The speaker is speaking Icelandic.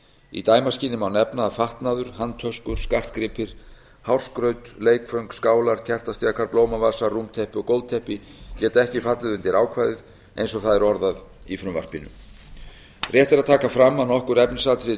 í dæmaskyni má nefna að fatnaður handtöskur skartgripir hárskraut leikföng skálar kertastjakar blómavasar rúmteppi og gólfteppi geta ekki fallið undir ákvæðið eins og það er orðað í frumvarpinu rétt er að taka fram að nokkur efnisatriði